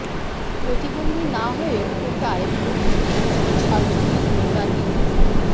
প্রতিবন্ধী না হয়েও কোটায় ভর্তির অভিযোগ ছাত্রলীগ নেতার বিরুদ্ধে